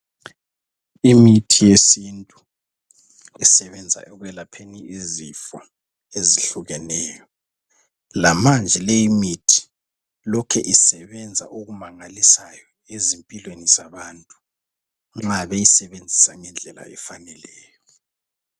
Imithi yesintu esebenza ekwelapheni izifwa ezihlukeneyo, lamanje leyimithi lokhe isebenza okumangalisayo ezimpilweni zabantu nxa beyisebenzisa ngendlela efaneleyo.